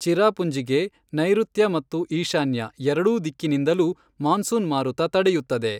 ಚಿರಾಪುಂಜಿಗೆ ನೈಋತ್ಯ ಮತ್ತು ಈಶಾನ್ಯ ಎರಡೂ ದಿಕ್ಕಿನಿಂದಲೂ ಮಾನ್ಸೂನ್ ಮಾರುತ ತಡೆಯುತ್ತದೆ.